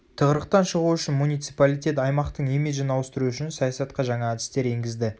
тығырықтан шығу үшін муниципалитет аймақтың имиджін ауыстыру үшін саясатқа жаңа әдістер енгізді